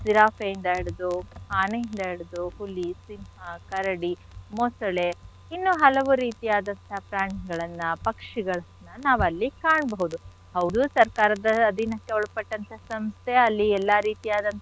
ಜಿರಾಫೆಯಿಂದ ಹಿಡ್ದು ಆನೆ ಇಂದ ಹಿಡ್ದು ಹುಲಿ ಸಿಂಹ ಕರಡಿ ಮೊಸಳೆ ಇನ್ನೂ ಹಲವು ರೀತಿಯಾದಂಥಹ ಪ್ರಾಣಿಗಳನ್ನ ಪಕ್ಷಿಗಳನ್ನ ನಾವ್ ಅಲ್ಲಿ ಕಾಣ್ಬೋದು. ಹೌದು ಸರ್ಕಾರದ ಅಧೀನಕ್ಕೆ ಒಳಪಟ್ಟಂಥ ಸಂಸ್ಥೆ ಅಲ್ಲಿ ಎಲ್ಲಾ ರೀತಿಯಾದಂಥಹ.